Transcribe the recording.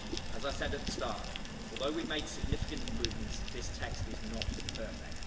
As I said at the start, although we've made significant improvements, this text is not perfect.